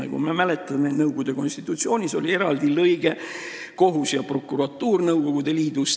Nagu me mäletame, Nõukogude konstitutsioonis olid eraldi peatükid kohtu ja prokuratuuri kohta Nõukogude Liidus.